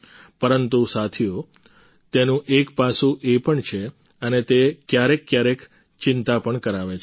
પરંતુ સાથીઓ તેનું એક પાસું એ પણ છે અને તે ક્યારેક ક્યારેક ચિંતા પણ કરાવે છે